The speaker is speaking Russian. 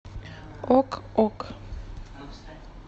ок ок